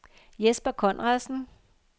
Jesper Conradsen